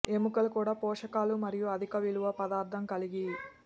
ఎముకలు కూడా పోషకాలు మరియు అధిక విలువ పదార్థం కలిగి